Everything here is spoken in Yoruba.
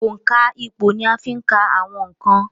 òǹkà ìpò ni a ń fí ka àwọn ǹkan